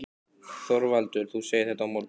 ÞORVALDUR: Þú segir þetta á morgun?